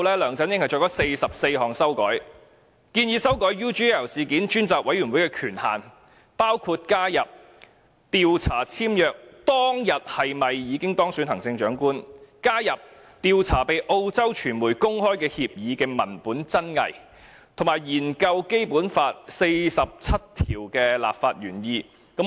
梁振英作出44項修改，建議專責委員會的權限，包括加入調查簽約當天是否已經當選行政長官、調查被澳洲傳媒公開的協議文本真偽，以及研究《基本法》第四十七條的立法原意。